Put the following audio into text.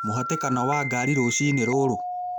mũhatĩkano wa ngari rũcinĩ rũrũ